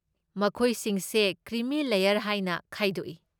ꯃꯈꯣꯏꯁꯤꯡꯁꯦ cream layer ꯍꯥꯏꯅ ꯈꯥꯏꯗꯣꯛꯏ꯫